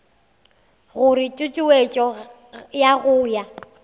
gore tutuetšo ya go ya